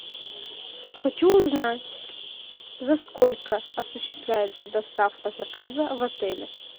хочу узнать за сколько осуществляется доставка заказа в отеле